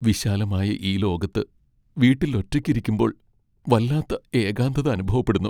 വിശാലമായ ഈ ലോകത്ത് വീട്ടിൽ ഒറ്റയ്ക്കിരിക്കുമ്പോൾ വല്ലാത്ത ഏകാന്തത അനുഭവപ്പെടുന്നു.